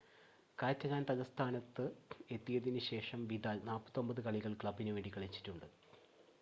Catalan തലസ്ഥാനത്ത് എത്തിയതിന് ശേഷം വിദാൽ 49 കളികൾ ക്ലബ്ബിന് വേണ്ടി കളിച്ചിട്ടുണ്ട്